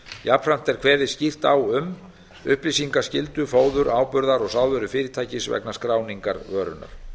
jafnframt er kveðið skýrt á um upplýsingaskyldu fóður áburðar og sáðvörufyrirtækis vegna skráningar vörunnar